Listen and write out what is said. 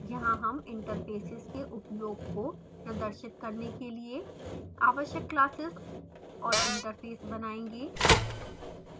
यहाँ हम interfaces के उपयोग को प्रदर्शित करने के लिए आवश्यक classes और interface बनायेंगे